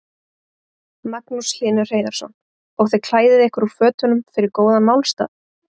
Magnús Hlynur Hreiðarsson: Og þið klæðið ykkur úr fötunum fyrir góðan málstað?